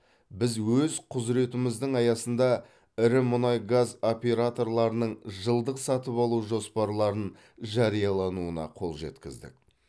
біз өз құзыретіміздің аясында ірі мұнай газ операторларының жылдық сатып алу жоспарларын жариялауына қол жеткіздік